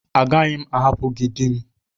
Agaghị m arapu gị di m.